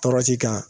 Tɔɔrɔsi kan